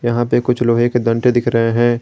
यहां पे कुछ लोहे के डंडे दिख रहे हैं।